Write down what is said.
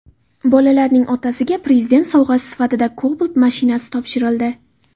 Bolalarning otasiga Prezident sovg‘asi sifatida Cobalt mashinasi topshirildi .